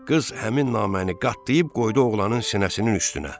Qız həmin naməni qatlayıb qoydu oğlanın sinəsinin üstünə.